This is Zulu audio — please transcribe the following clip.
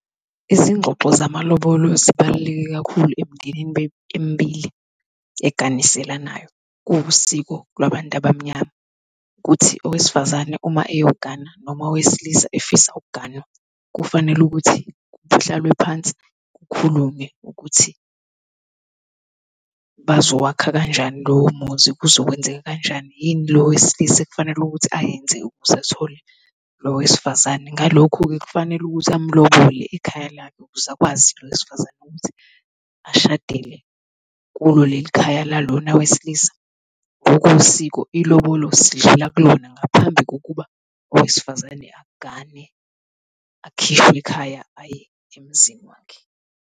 Izingxoxo zamalolo zibaluleke kakhulu emndenini emibili eganiselanayo. Kuwusiko labantu abamnyama ukuthi owesifazane uma eyogana noma owesilisa efisa ukuganwa, kufanele ukuthi kuhlalwe phansi kukhulunywe ukuthi bazowakha kanjani lowo muzi, kuzokwenzeka kanjani, yini lo wesilisa ekufanele ukuthi ayenze ukuze athole lo wesifazane. Ngalokho-ke, kufanele ukuthi amlobole ikhaya lakhe ukuze akwazi lo wesifazane ukuthi ashadele kulo leli khaya la lona wesilisa. Ngokosiko ilobolo sidlula kulona ngaphambi kokuba owesifazane agane akhishwe ekhaya aye emzini wakhe.